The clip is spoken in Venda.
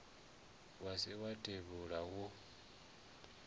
wa ri wa tevhula wo